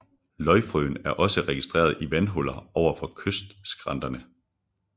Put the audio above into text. Løgfrøen er også registreret i vandhuller ovenfor kystskrænterne